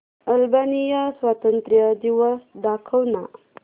Albania स्वातंत्र्य दिवस दाखव ना